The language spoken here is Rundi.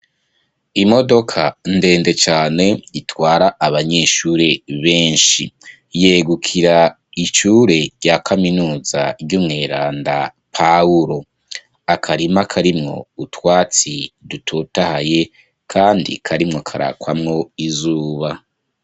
Imodoka ndende cane itwara abanyeshuri benshi yegukira ishure rya kaminuza ry'umweranda Pawulo ,akarima karimwo utwatsi dutotahaye kandi karimwo karakwamwo izuba.